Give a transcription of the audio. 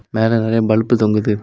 மேல நிறைய பல்பு தொங்குது.